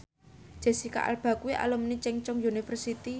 Jesicca Alba kuwi alumni Chungceong University